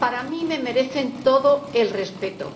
A mí me merecen todo el respeto.